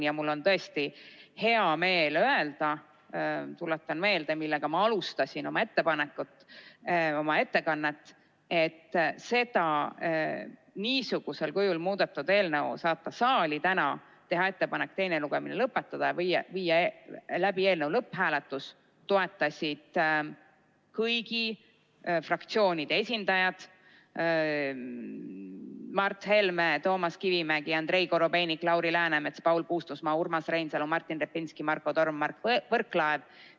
Ja mul on tõesti hea meel öelda – tuletan meelde, millega ma alustasin oma ettekannet –, et seda, niisugusel kujul muudetud eelnõu saatmist saali, ettepanekut teine lugemine lõpetada ja viia läbi eelnõu lõpphääletus, toetasid kõigi fraktsioonide esindajad: Mart Helme, Toomas Kivimägi, Andrei Korobeinik, Lauri Läänemets, Paul Puustusmaa, Urmas Reinsalu, Martin Repinski, Marko Torm ja Mart Võrklaev.